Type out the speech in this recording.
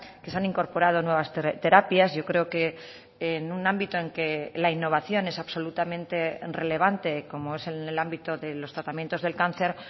que se han incorporado nuevas terapias yo creo que en un ámbito en que la innovación es absolutamente relevante como es en el ámbito de los tratamientos del cáncer